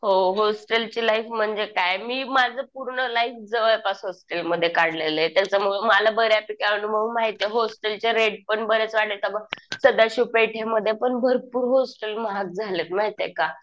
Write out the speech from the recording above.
हो. होस्टेलची लाईफ म्हणजे काय. मी माझं पूर्ण लाईफ जवळपास हॉस्टेलमध्ये काढलेलं आहे. त्याच्यामुळं मला बऱ्यापैकी अनुभव माहिती आहे. होस्टेलचे रेट पण बरेच वाढले. आता बघ सदाशिव पेठ मध्ये पण भरपूर हॉस्टेल महाग झालेत माहितीये का.